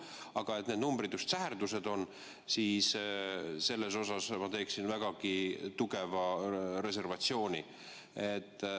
Aga et need numbrid just säherdused on, selles ma teeksin vägagi tugeva reservatsiooni.